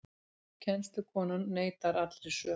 Kennslukonan neitar allri sök